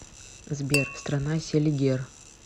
сбер страна селигер